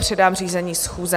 Předám řízení schůze.